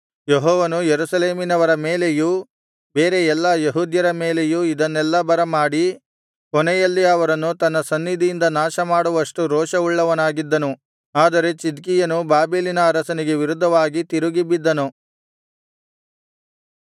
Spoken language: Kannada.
ಯೆಹೋವನು ಯೆರೂಸಲೇಮಿನವರ ಮೇಲೆಯೂ ಬೇರೆ ಎಲ್ಲಾ ಯೆಹೂದ್ಯರ ಮೇಲೆಯೂ ಇದನ್ನೆಲ್ಲಾ ಬರಮಾಡಿ ಕೊನೆಯಲ್ಲಿ ಅವರನ್ನು ತನ್ನ ಸನ್ನಿಧಿಯಿಂದ ನಾಶಮಾಡುವಷ್ಟು ರೋಷವುಳ್ಳವನಾಗಿದ್ದನು ಆದರೆ ಚಿದ್ಕೀಯನು ಬಾಬೆಲಿನ ಅರಸನಿಗೆ ವಿರುದ್ಧವಾಗಿ ತಿರುಗಿಬಿದ್ದನು